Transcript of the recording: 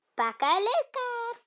Bakaðir laukar